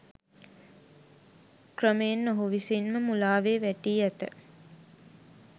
ක්‍රමයෙන් ඔහු විසින්ම මුලාවේ වැටී ඇත